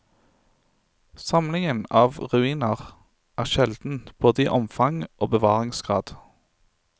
Samlingen av ruiner er sjelden, både i omfang og bevaringsgrad.